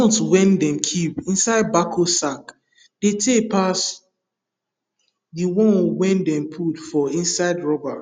groundnut wey dem keep inside bako sack dey tay pass the one wey dem put for inside rubber